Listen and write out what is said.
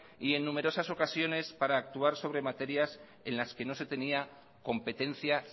y en numerosas ocasiones para actuar sobre materias en las que no se tenía competencia